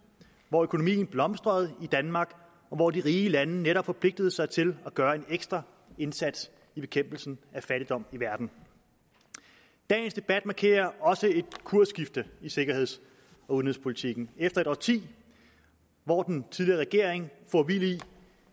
hvor økonomien blomstrede i danmark og hvor de rige lande netop forpligtede sig til at gøre en ekstra indsats i bekæmpelsen af fattigdom i verden dagens debat markerer også et kursskifte i sikkerheds og udenrigspolitikken efter et årti hvor den tidligere regering for vild i